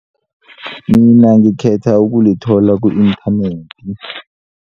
Mina ngikhetha ukulithola ku-inthanethi.